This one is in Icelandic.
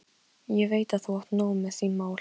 Ég veit að þú átt nóg með þín mál.